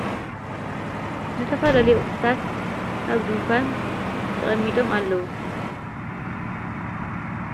ዝተፋለለይ ቝኅታት ሃብዱ እንኳን ተቐሚጦም ኣለዉ።